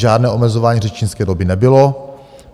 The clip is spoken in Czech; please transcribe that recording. Žádné omezování řečnické doby nebylo.